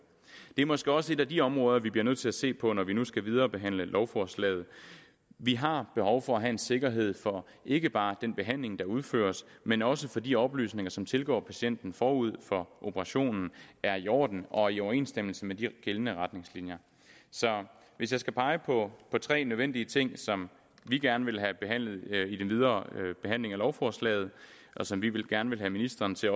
det er måske også et af de områder vi bliver nødt til at se på når vi nu skal viderebehandle lovforslaget vi har behov for at have en sikkerhed for ikke bare den behandling der udføres men også for de oplysninger som tilgår patienten forud for operationen er i orden og i overensstemmelse med de gældende retningslinjer så hvis jeg skal pege på tre nødvendige ting som vi gerne vil have behandlet i den videre behandling af lovforslaget og som vi gerne vil have ministeren til